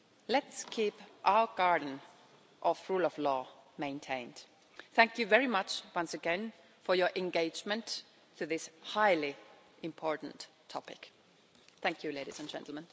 Let's keep our garden of rule of law maintained. Thank you very much, once again, for your engagement in this highly important topic. Thank you, ladies and gentlemen.